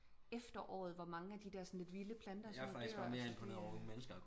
Efteråret hvor mange af de der sådan lidt vilde planter sådan nogen dør